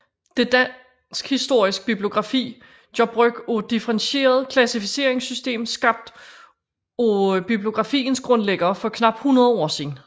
Dansk Historisk Bibliografi gør brug af et differentieret klassificeringssystem skabt af bibliografiens grundlæggere for knap 100 år siden